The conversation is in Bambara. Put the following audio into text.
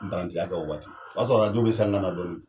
Nparantiya kɛ o waati. o y'a sɔrɔ be san na na dɔɔni